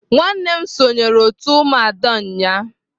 Nwannem sonyere umuada group unyanya.